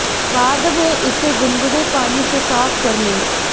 बाद में इसे गुनगुने पानी से साफ कर लें